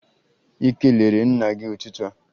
Ị kelere nna gị n'ụtụtụ a?